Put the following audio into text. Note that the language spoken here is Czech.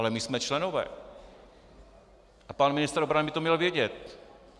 Ale my jsme členové a pan ministr obrany by to měl vědět.